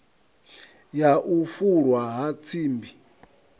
ya u fulwa ha tsimbi